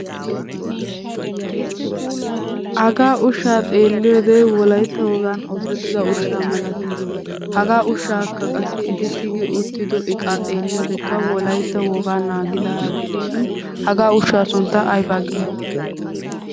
Hagaa ushshaa xeelliyoode Wolaytta wogan oosettida ushshaa malatees. Hagaa ushshakka qassi eti tigi uttido eqqakka xeeliyooode wolaytta wogaa naagidaaga gidishin haga ushshaa sunttaa aybbaa giyo?